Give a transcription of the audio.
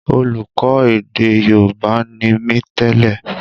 Olùkọ́ èdè Yorùbá ni mí tẹ́lè